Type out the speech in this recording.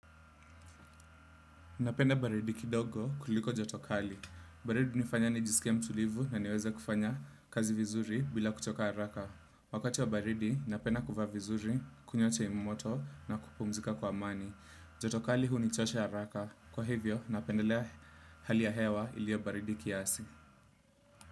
Napenda baridi kidogo kuliko joto kali. Baridi hunifanya nijisikie mtulivu na niweze kufanya kazi vizuri bila kuchoka haraka. Wakati wa baridi, napenda kuvaa vizuri, kunywa chai moto na kupumzika kwa amani. Joto kali hunichosha haraka. Kwa hivyo, napendelea hali ya hewa iliyo baridi kiasi.